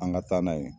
An ka taa n'a ye